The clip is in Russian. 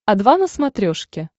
о два на смотрешке